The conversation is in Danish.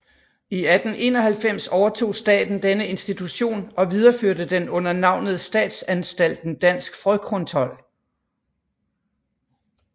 I 1891 overtog staten denne institution og videreførte den under navnet Statsanstalten Dansk Frøkontrol